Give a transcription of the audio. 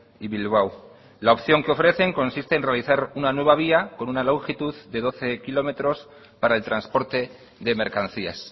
y bilbao la opción que ofrecen consiste en realizar una nueva vía con una longitud de doce kilómetros para el transporte de mercancías